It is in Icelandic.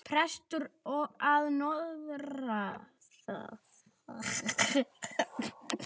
Prestur að norðan!